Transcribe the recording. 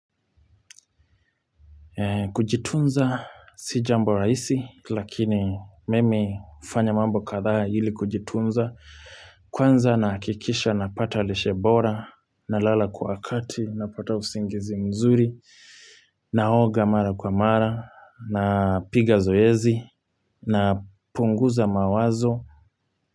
Kujitunza si jambo rahisi lakini mimi hufanya mambo kadhaa ili kujitunza Kwanza nahakikisha napata lishe bora nalala kwa wakati, napata usingizi mzuri naoga mara kwa mara, napiga zoezi, napunguza mawazo.